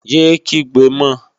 Yé é kígbe mọ!